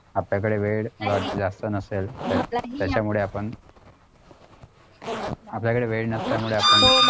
आपल्याकडे वेळ जास्त नसेल तर त्यामुळे आपण आपल्याकडे वेळ नसल्यामुळे आपण